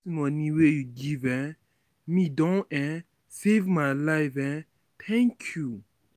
moni wey you give um me don um save my life um, thank you.